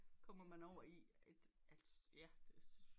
Kommer man over i et at ja